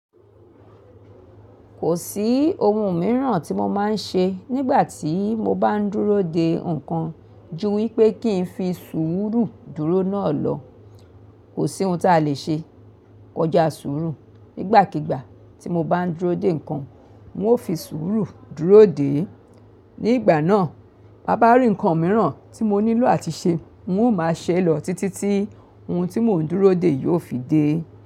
Kò sí ohun mìíràn tí mo máa ń ṣe nígbà tí mo bá ń dúró de nǹkan ju wípé kìn fi sùúrù dúró náà lọ. Kò sí ohun tí a lè ṣe kọjá sùúrù. Nígbàkígbà tí mo bá ń dúró de nǹkan, n o fi sùúrù dúró dè é. Nígbà náà, bá bá rí nǹkan mìíràn tí mo nílò àti ṣe, n o máa ṣẹ lọ títí tí ohun tí mò ń dúró de yóò fi dé.